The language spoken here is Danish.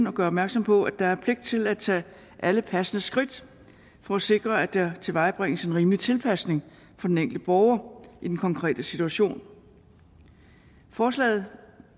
og gøre opmærksom på at der er pligt til at tage alle passende skridt for at sikre at der tilvejebringes en rimelig tilpasning for den enkelte borger i den konkrete situation forslaget